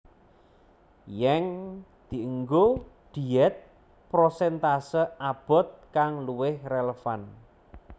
Yeng dienggo diet prosentase abot kang luwih relevan